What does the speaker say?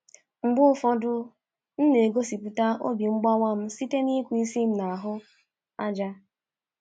Mgbe ụfọdụ, m na-egosipụta obi mgbawa m site n’ịkụ isi m n'ahụ ájá.